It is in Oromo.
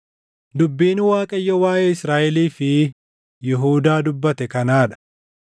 Dubbiin Waaqayyo waaʼee Israaʼelii fi Yihuudaa dubbate kanaa dha: